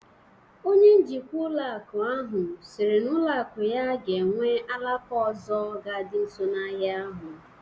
Onye njikwa ụlọ akụ ahụ siri na ụlọ akụ ya ga-ewu alaka ọzọ ga dị nso na ahịa ahụ